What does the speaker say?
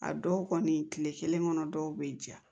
A dɔw kɔni kile kelen kɔnɔ dɔw be ja